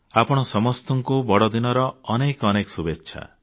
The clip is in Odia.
ଆପଣ ସମସ୍ତଙ୍କୁ ବଡଦିନର ଅନେକ ଅନେକ ଶୁଭେଚ୍ଛା